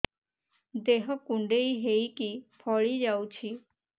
ଦେହ କୁଣ୍ଡେଇ ହେଇକି ଫଳି ଯାଉଛି